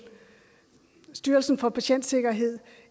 styrelsen for patientsikkerhed